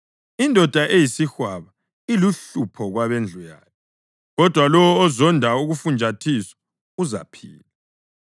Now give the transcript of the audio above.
Indoda eyisihwaba iluhlupho kwabendlu yayo, kodwa lowo ozonda ukufunjathiswa uzaphila.